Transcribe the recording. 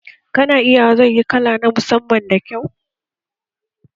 Kana iya wa zai yi kala na musamman da kyau